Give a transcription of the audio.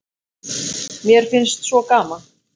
Mér finnst svo gaman!